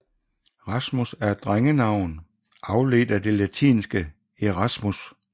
Rasmus er et drengenavn afledt af det latinske Erasmus